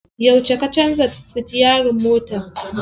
Yauce ka canza sitiyarin mota?